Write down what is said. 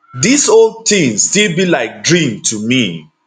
dis whole tin still be like dream to me